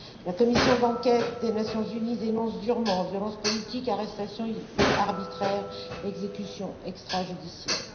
La commission d'enquête des Nations unies dénonce durement violences politiques, arrestations arbitraires et exécutions extrajudiciaires.